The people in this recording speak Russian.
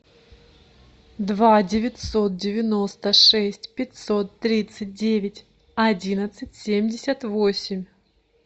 два девятьсот девяносто шесть пятьсот тридцать девять одиннадцать семьдесят восемь